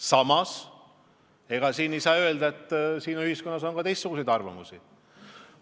Samas on ühiskonnas ka teistsuguseid arvamusi.